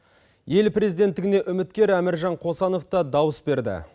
ел президенттігіне үміткер әміржан қосанов та дауыс берді